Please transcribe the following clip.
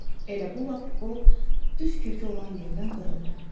Elə bu vaxt o düz kökü olan yerdən qırıldı.